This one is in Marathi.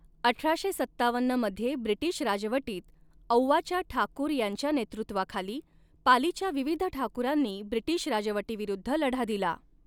अठराशे सत्तावन्न मध्ये ब्रिटीश राजवटीत औवाच्या ठाकूर यांच्या नेतृत्वाखाली पालीच्या विविध ठाकूरांनी ब्रिटीश राजवटीविरुद्ध लढा दिला.